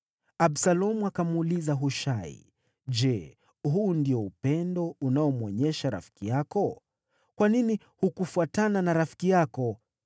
Absalomu akamuuliza Hushai, “Je, huu ndio upendo unaomwonyesha rafiki yako? Kwa nini hukufuatana na rafiki yako?”